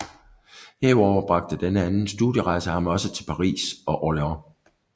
Herudover bragte denne anden studierejse ham også til Paris og Orleans